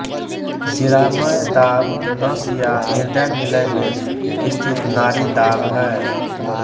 शिरामय दाब नस या हृदय निलय में स्थित नाड़ी दाब है